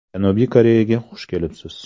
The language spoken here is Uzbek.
Janubiy Koreyaga xush kelibsiz!